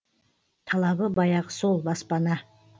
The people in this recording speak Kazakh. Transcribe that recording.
талабы баяғы сол баспана